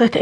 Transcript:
بنگر